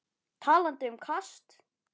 Talandi um kast.